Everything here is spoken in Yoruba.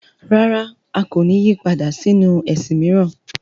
Rárá! A kò ní yí padà sínu ẹ̀sìn mìíràn.